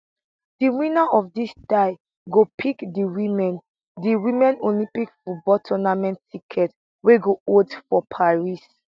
di winner of dis tie go pick di women di women olympic football tournament ticket wey go hold for paris